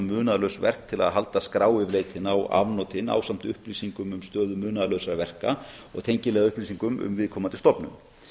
munaðarlaus verk til að halda skrá yfir leitina og afnotin ásamt upplýsingum um stöðu munaðarlausra verka og tengiliðaupplýsingum um viðkomandi stofnun